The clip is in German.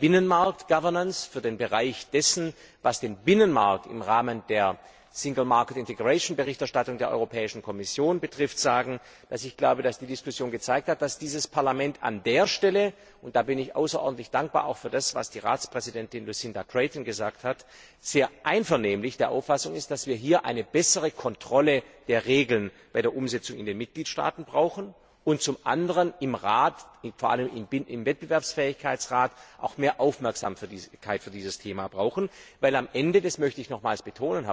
Binnenmarktgovernance, für den Bereich dessen, was der Binnenmarkt im Rahmen der Binnenmarktintegrations Berichterstattung der Europäischen Kommission betrifft, sagen, dass ich glaube, dass die Diskussion gezeigt hat, dass dieses Parlament an der Stelle und da bin ich außerordentlich dankbar auch für das, was die Ratspräsidentin Lucinda Creighton gesagt hat sehr einvernehmlich der Auffassung ist, dass wir hier eine bessere Kontrolle der Regeln bei der Umsetzung in den Mitgliedstaaten brauchen und zum anderen im Rat, vor allem im Wettbewerbsfähigkeitsrat, auch mehr Aufmerksamkeit für dieses Thema brauchen, weil am Ende das möchte ich nochmals betonen